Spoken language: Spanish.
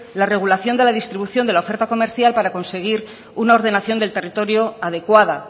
la regulación de la distribución de la oferta comercial para conseguir una ordenación del territorio adecuada